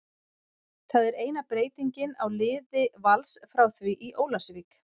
Það er eina breytingin á liði Vals frá því í Ólafsvík.